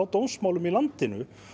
dómsmálum í landinu